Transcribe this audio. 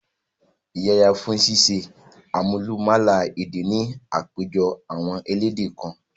Yẹra fún ṣíṣe àmúlùmálà èdè ni àpéjọpọ̀ àwọn elédè kan.